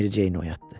Mericeyi oyatdı.